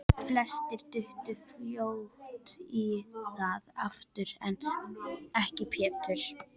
Flestir duttu fljótt í það aftur, en ekki Pétur.